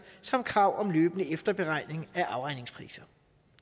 samt krav om løbende efterberegning af afregningspriser